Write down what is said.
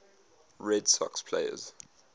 red sox players